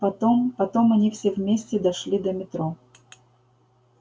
потом потом они все вместе дошли до метро